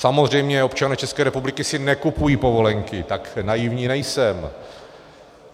Samozřejmě občané České republiky si nekupují povolenky, tak naivní nejsem.